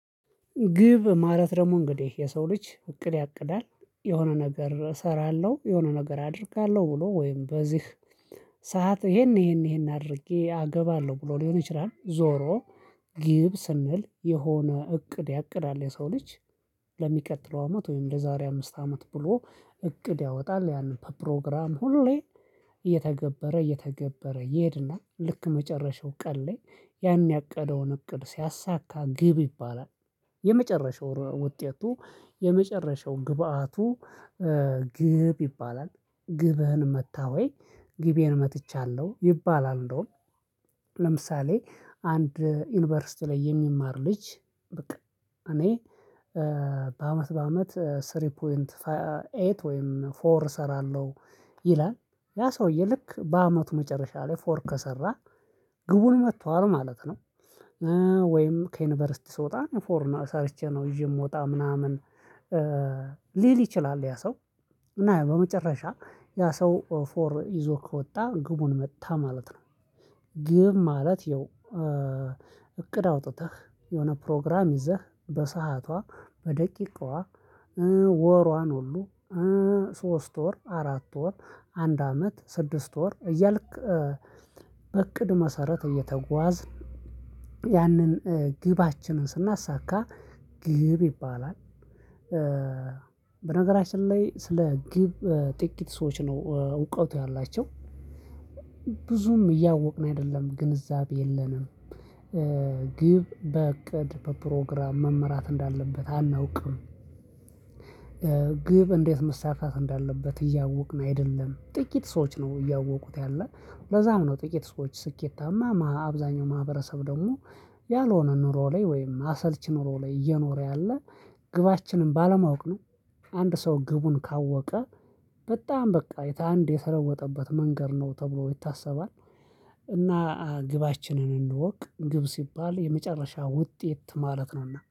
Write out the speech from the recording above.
ግብ ማለት ደግሞ እንግዲህ የሰው ልጅ እቅድ ያቅዳል የሆነ ነገር እሰራለሁ የሆነ ነገር አደርጋለሁ ብሎ ወይም በዚህ ሰዓት ይሄን ይሄን ይሄን አድርጌ አገባለሁ ብሎ ሊሆን ይችላል። ዞሮ ግብ ስንል የሆነ እቅድ ያቅዳል የሰው ልጅ። ለሚቀጥለው አመት ወይም ለዛሬ አምስት አመት ብሎ እቅድ ያወጣል። ያንን በፕሮግራም ሁሌ እየተገበረ እየተገበረ ይሄድና ልክ መጨረሻው ቀን ላይ ያን ያቀደውን እቅድ ሲያሳካ ግብ ይባላል። የመጨረሻው ውጤቱ የመጨረሻው ግብአቱ። ግብ ይባላል። ግብህን መታህ ወይ? ግቤን መትቻለሁ ይባላል። እንደውም ለምሳሌ አንድ ዩኒቨርሲቲ ላይ የሚማር ልጅ። በቃ እኔ በአመት በአመት ሶስት ነጥብ ስምንት ወይም ፎር እሰራለሁ። ይላል ያ ሰውዬ ልክ በአመቱ መጨረሻ ላይ ፎር ከሰራ ግቡን መቷል ማለት ነው። ወይም ከዩኒቨርሲቲ ስወጣ ፎር ሰርቼ ነው ይዤ የምወጣ ምናምን ሊል ይችላል ያ ሰው። እና በመጨረሻ ያ ሰው ፎር ይዞ ከወጣ ግቡን መታ ማለት ነው። ግብ ማለት ያው እቅድ አውጥተህ የሆነ ፕሮግራም ይዘህ በሰአቷ በደቂቃዋ። ወሯን ሁሉ ሶስት ወር አራት ወር አንድ አመት ስድስት ወር እያልክ በእቅድ መሰረት እየተጓዝን ያንን ግባችንን ስናሳካ ግብ ይባላል። በነገራችን ላይ ስለ ግብ ጥቂት ሰዎች ነው እውቀቱ ያላቸው። ብዙም እያወቅን አይደለም ግንዛቤ የለንም። ግብ በእቅድ በፕሮግራም መመራት እንዳለበት አናውቅም። ግብ እንዴት መሳካት እንዳለበት እያወቅን አይደለም። ጥቂት ሰዎች ነው እያወቁት ያለ ለዛም ነው ጥቂት ሰዎች ስኬታማ አብዛኛው ማህበረሰብ ደግሞ ያልሆነ ኑሮ ላይ ወይም አሰልቺ ኑሮ ላይ እየኖረ ያለ ግባችንን ባለማወቅ ነው። አንድ ሰው ግቡን ካወቀ በጣም በቃ አንድ የተለወጠበት መንገድ ነው ተብሎ ይታሰባል። እና ግባችንን እንወቅ ግብ ሲባል የመጨረሻ ውጤት ማለት ነውና